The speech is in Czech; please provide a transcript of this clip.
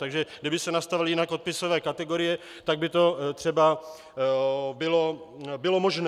Takže kdyby se nastavily jinak odpisové kategorie, tak by to třeba bylo možné.